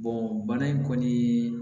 bana in kɔni